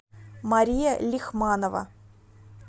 мария лихманова